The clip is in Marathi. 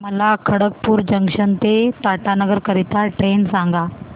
मला खडगपुर जंक्शन ते टाटानगर करीता ट्रेन सांगा